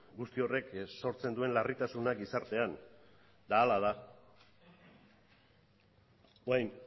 guzti horrek sortzen duen larritasuna gizartean eta hala da orain